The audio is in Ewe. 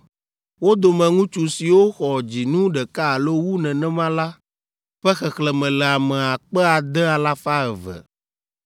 Wo dome ŋutsu siwo xɔ dzinu ɖeka alo wu nenema la ƒe xexlẽme le ame akpe ade alafa eve (6,200).